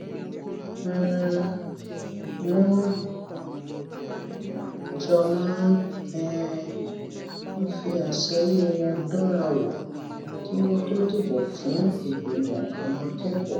um wón jọ máa um ń fi àsọyé wọn dánra wò kí wón tó dìbò fún ìgbìmò àwọn akékòó